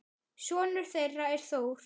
Sonur þeirra er Þór.